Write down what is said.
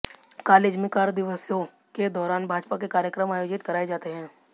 college में कार्यदिवसों के दौरान भाजपा के कार्यक्रम आयोजित कराये जाते हैं